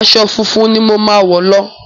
Aṣọ funfun ni mo ma wọ̀ lọ.